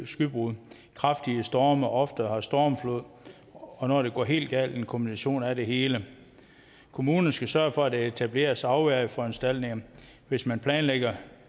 skybrud kraftige storme og har oftere stormflod og når det går helt galt en kombination af det hele kommunerne skal sørge for at der etableres afværgeforanstaltninger hvis man planlægger